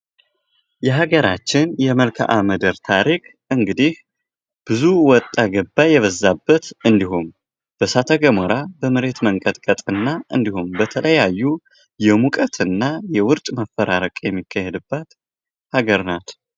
የሀገራችን የመልካ ምድር ታሪክ እንግዲህ ብዙ ወጣ ገባ የበዛበት እንዲሁም በሳተ ገሞራ፣ በመሬት መንቀጥቀጥና እንዲሁም በተለያዩ የሙቀት እና የውርጭ መፈራረቅ የሚካሄድባት ሀገር ናት።